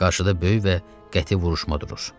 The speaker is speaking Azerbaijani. Qarşıda böyük və qəti vuruşma durur.